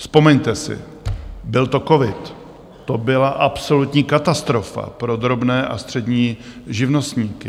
Vzpomeňte si, byl to covid, to byla absolutní katastrofa pro drobné a střední živnostníky.